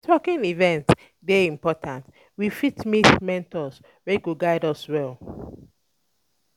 Networking um event dey important, we fit meet mentors wey go guide us well.